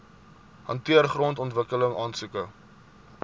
hanteer grondontwikkeling aansoeke